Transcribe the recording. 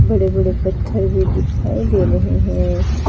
बड़े बड़े पत्थर भी दिखाई दे रहे हैं।